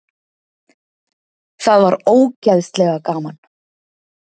Það var ógeðslega gaman.